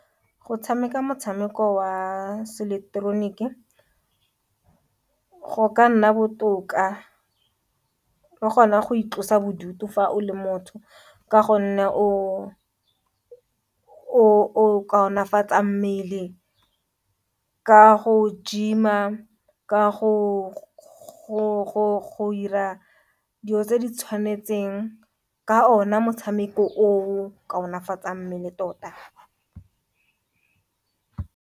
Go tshameka motshameko wa Se-eleketeroniki go ka nna botoka le gona go itlosa bodutu fa o le motho, ka gonne o kaonafatsa mmele ka go gym-a, ka go ira dilo tse di tshwanetseng ka ona motshameko o kaonafatsang mmele tota.